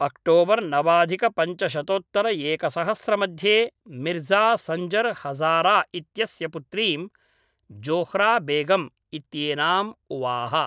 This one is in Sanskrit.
अक्टोबर् नवाधिकपञ्चशतोतत्तरएकसहस्रमध्ये मिर्ज़ा संजर् हज़ारा इत्यस्य पुत्रीं, ज़ोह्रा बेगम् इत्येनाम् उवाह।